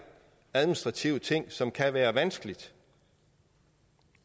administrative ting som kan være vanskelige